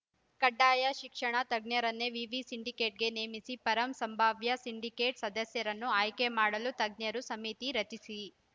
ಕಡ್ಡಾಯ ಶಿಕ್ಷಣ ತಜ್ಞರನ್ನೇ ವಿವಿ ಸಿಂಡಿಕೇಟ್‌ಗೆ ನೇಮಿಸಿ ಪರಂ ಸಂಭಾವ್ಯ ಸಿಂಡಿಕೇಟ್‌ ಸದಸ್ಯರನ್ನು ಆಯ್ಕೆ ಮಾಡಲು ತಜ್ಞರು ಸಮಿತಿ ರಚಿಸಿ